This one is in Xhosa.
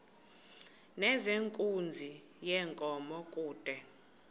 nezenkunzi yenkomo kude